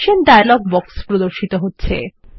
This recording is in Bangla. অপশন ডায়লগ বাক্স এ প্রদর্শিত হচ্ছে